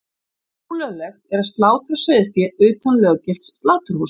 Ólöglegt er að slátra sauðfé utan löggilts sláturhúss.